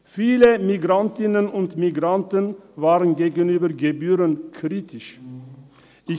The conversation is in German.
Viele Migrantinnen und Migranten waren gegenüber den Gebühren kritisch eingestellt.